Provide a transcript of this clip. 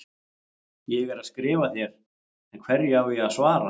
Ég er að skrifa þér, en hverju á ég að svara?